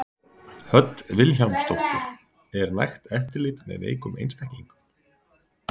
Hödd Vilhjálmsdóttir: Er nægt eftirlit með veikum einstaklingum?